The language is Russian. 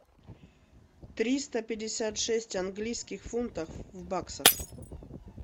триста пятьдесят шесть английских фунтов в баксах